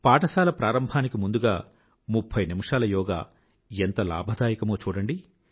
పాఠశాల ప్రారంభానికి ముందుగా ముఫ్ఫై నిమిషాల యోగా ఎంత లాభదాయకమో చూడండి